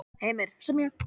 Heimir: Sem er?